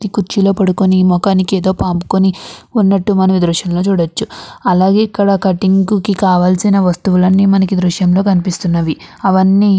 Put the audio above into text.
ఈ కుర్చీలో పడుకుని మోకానికి ఏదో పాముకుని ఉన్నట్టు మనం ఈ దృశ్యం లో చూడచ్చు. అలాగే కటింగ్ కి కావాల్సిన వస్తువులన్నీ మనకి ఈ దృశ్యంలో కనిపిస్తున్నవి అవన్నీ --